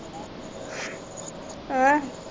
ਆ